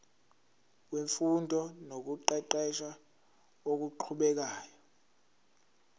wemfundo nokuqeqesha okuqhubekayo